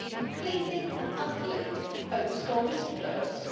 We seem to be completely and utterly focused on whistle-blowers.